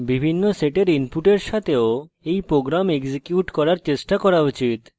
বিভিন্ন sets inputs সাথেও you program execute করার চেষ্টা করা উচিত